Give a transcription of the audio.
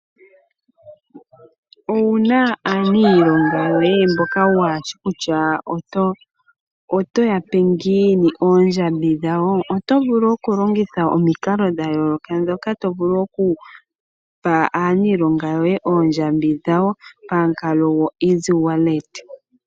Owuna aaniilonga yoye mboka waa shi kutya otoya mpe ngiini oondjambi dhawo? Oto vulu oku longitha omikalo dha yooloka ,mpoka tovulu okupa aaniilonga yoye oodjambi dhawo pamukalo goEasy wallet.